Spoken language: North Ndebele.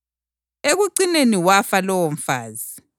Ekucineni wafa lowomfazi.